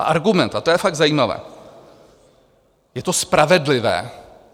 A argument, a to je fakt zajímavé: Je to spravedlivé.